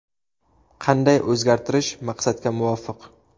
Qanday o‘zgartirish maqsadga muvofiq?